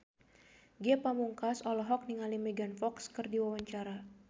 Ge Pamungkas olohok ningali Megan Fox keur diwawancara